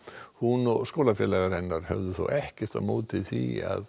hún og skólafélagar hennar höfðu þó ekkert á móti því að